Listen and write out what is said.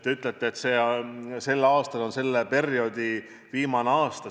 Te ütlete, et see aasta on selle perioodi viimane aasta.